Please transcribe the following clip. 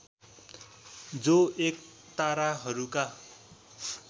जो एक ताराहरूका